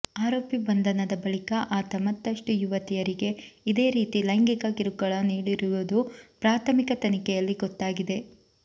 ಆರೋಪಿ ಬಂಧನದ ಬಳಿಕ ಆತ ಮತ್ತಷ್ಟು ಯುವತಿಯರಿಗೆ ಇದೇ ರೀತಿ ಲೈಂಗಿಕ ಕಿರುಕುಳ ನೀಡಿರುವುದು ಪ್ರಾಥಮಿಕ ತನಿಖೆಯಲ್ಲಿ ಗೊತ್ತಾಗಿದೆ